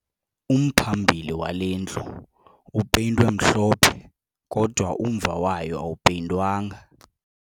Umphambili wale ndlu upeyintwe mhlophe kodwa umva wayo awupeyintwanga